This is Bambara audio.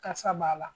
Kasa b'a la